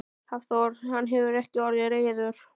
Hafþór: Hann hefur ekki orðið reiður?